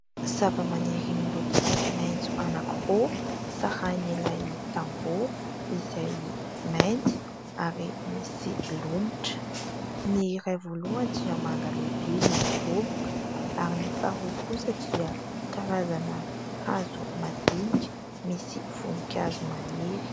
Zava-maniry miloko maintso anakiroa sarahin'ilay tambo, izay mainty ary misy lomotra ; ny ray voalohany dia manga lehibe midoroboka ary ny faharoa kosa dia karazana hazo madinika misy voninkazo maniry.